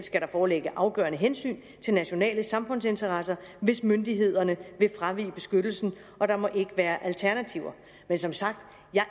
foreligge afgørende hensyn til nationale samfundsinteresser hvis myndighederne vil fravige beskyttelsen og der må ikke være alternativer men som sagt